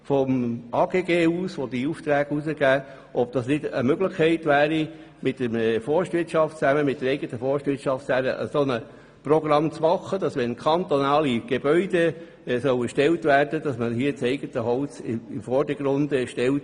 Das AGG, das diese Aufträge vergibt, könnte zusammen mit der eigenen Forstwirtschaft Programme entwickeln, die beim Erstellen kantonaler Bauten das eigene Holz in den Vordergrund stellen.